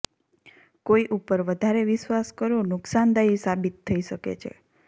કોઇ ઉપર વધારે વિશ્વાસ કરવો નુકસાનદાયી સાબિત થઇ શકે છે